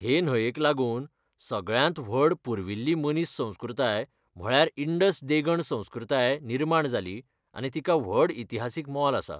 हे न्हंयेक लागून सगळ्यांत व्हड पुर्विल्ली मनीस संस्कृताय म्हळ्यार इन्डस देगण संस्कृताय निर्माण जाली आनी तिका व्हड इतिहासीक मोल आसा.